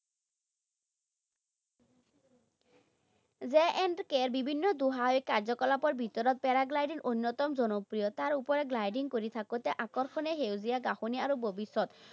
J and K ৰ বিভিন্ন দুঃসাহসিক কাৰ্য্যকলাপৰ ভিতৰত paragliding অন্যতম জনপ্ৰিয়। তাৰ ওপৰে gliding কৰি থাকোতে আকৰ্ষণীয় সেউজীয়া ঘাঁহনি আৰু